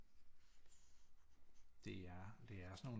Det er det er sådan nogle